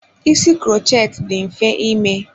Ísì krochet dị mfe ime.